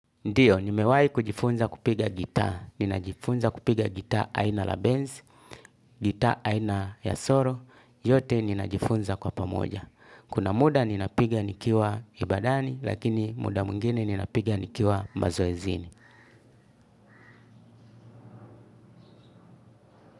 Ndio, nimewahi kujifunza kupiga gitaa, ninajifunza kupiga gitaa aina la Benz, gitaa aina ya soro, yote ninajifunza kwa pamoja. Kuna muda ninapiga nikiwa ibadani, lakini muda mwingine ninapiga nikiwa mazoezini.